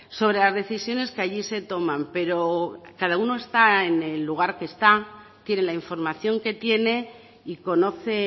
sobre las decisiones que allí se toman pero cada uno está en el lugar que está tiene la información que tiene y conoce